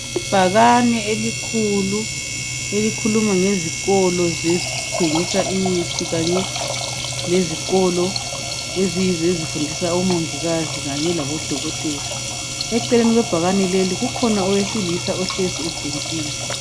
Ibhakane elikhulu elikhuluma ngezikolo ezithengisa imithi kanye lezikolo eziyizo ezifundisa omongikazi kanye labodokotela. Eceleni kwebhakane leli kukhona owesilisa ohlezi ebhentshini.